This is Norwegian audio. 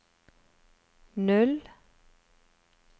null